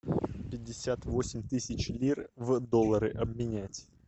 пятьдесят восемь тысяч лир в доллары обменять